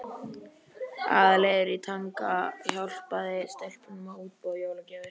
Aðalheiður í Tanga hjálpaði stelpunum að útbúa jólagjafir.